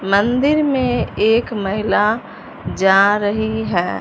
मंदिर में एक महिला जा रही है।